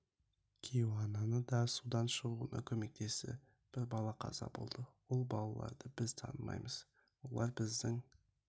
кейуананы да судан шығуына көмектесті бір бала қаза болды ол балаларды біз танымаймыз олар біздің